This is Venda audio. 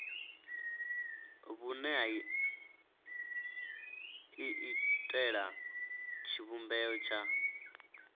vhune ha iitela tshivhumbeo tsha